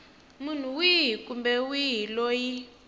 munhu wihi kumbe wihi loyi